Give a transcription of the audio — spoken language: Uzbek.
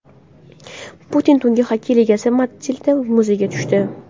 Putin Tungi xokkey ligasi matchida muzga tushdi .